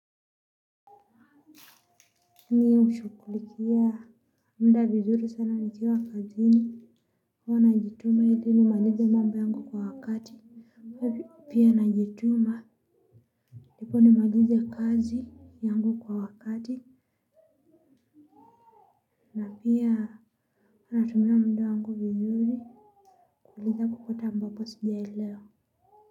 Mi hushughulikia muda vizuri sana nikiwa kazini huwa najituma ili nimalize mambo yangu kwa wakati. Pia najituma ndipo nimalize kazi yangu kwa wakati na pia huwa natumia muda wangu vizuri kuliza kokote ambapo sijaelewa.